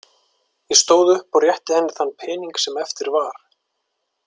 Ég stóð upp og rétti henni þann pening sem eftir var.